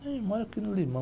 Ah, eu moro aqui no Limão.